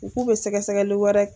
U k'u bɛ sɛgɛsɛgɛli wɛrɛ.